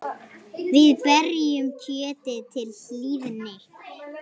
Við berjum kjötið til hlýðni.